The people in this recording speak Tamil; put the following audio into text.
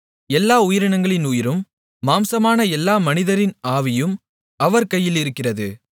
எல்லா உயிரினங்களின் உயிரும் மாம்சமான எல்லா மனிதரின் ஆவியும் அவர் கையிலிருக்கிறது